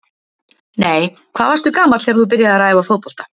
Nei Hvað varstu gamall þegar þú byrjaði að æfa fótbolta?